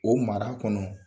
O mara kɔnɔ